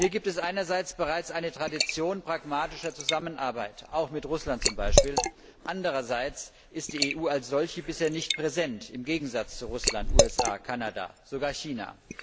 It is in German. Hier gibt es einerseits bereits eine Tradition pragmatischer Zusammenarbeit, auch beispielsweise mit Russland, andererseits ist die EU als solche bisher nicht präsent, im Gegensatz zu Russland, den USA, Kanada und sogar China.